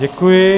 Děkuji.